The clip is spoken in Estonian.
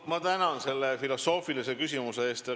Ma tänan selle filosoofilise küsimuse eest!